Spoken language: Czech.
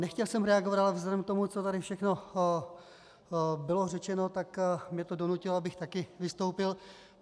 Nechtěl jsem reagovat, ale vzhledem k tomu, co tady všechno bylo řečeno, tak mě to donutilo, abych také vystoupil.